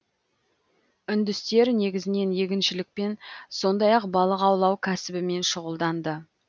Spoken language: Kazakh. үндістер негізінен егіншілікпен сондай ақ балық аулау кәсібімен шұғылданды